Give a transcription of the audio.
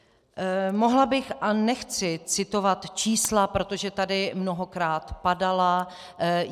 Mohla bych, a nechci citovat čísla, protože tady mnohokrát padala.